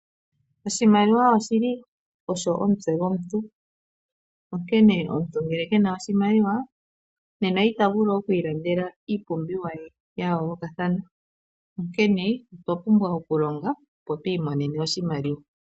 Oshimaliwa oshili omutse gwomuntu. Onkene omuntu ngele ke na oshimaliwa ita vulu oku ilandela iipumbiwa ye ya yoolokathana. Onkene okwa pumbwa oku longa opo i imonene oshimaliwa.